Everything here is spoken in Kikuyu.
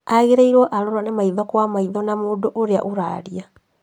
Agĩrĩirwo arorane maitho kwa maitho na mũndũ ũrĩa ũraria